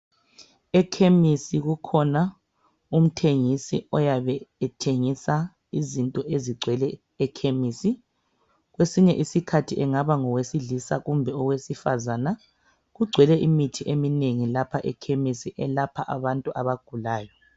EKhemisi kukhona umthengisi oyabe ethengisa izinto ezigcwele ekhemisi. Kwesinye isikhathi angaba ngowesilisa kumbe owesifazane kugcwele imithi eminengi lapha ekhemisi elapha abantu abagulayo